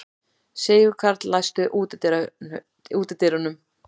Sigurkarl, læstu útidyrunum.